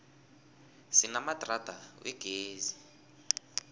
sinamadrada wegezi